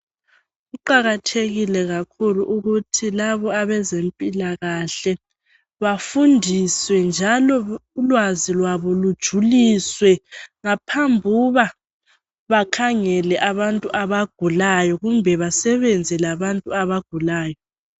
Kuqakathekile kakhulu ukuthi labo abezempilakahle bafundiswe njalo ulwazi lwabo lujuliswe ngaphambuba bakhangele abantu abagulayo kumbe basebenze labantu abagulayo.